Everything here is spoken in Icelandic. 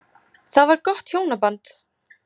Það var gott hjónaband.